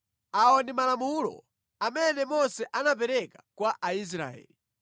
Awa ndi malamulo amene Mose anapereka kwa Aisraeli.